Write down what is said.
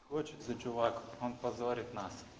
хочет за чувак он позорит нас